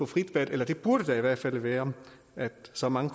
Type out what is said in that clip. frit valg eller der burde i hvert fald være så mange